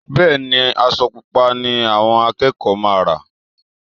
Bẹ́ẹ̀ ni, aṣọ Pupa ni àwọn akẹ́kọ̀ọ́ máa rán